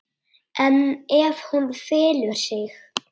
En ef hún felur sig?